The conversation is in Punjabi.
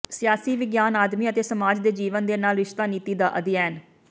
ਸਿਆਸੀ ਵਿਗਿਆਨ ਆਦਮੀ ਅਤੇ ਸਮਾਜ ਦੇ ਜੀਵਨ ਦੇ ਨਾਲ ਰਿਸ਼ਤਾ ਨੀਤੀ ਦਾ ਅਧਿਐਨ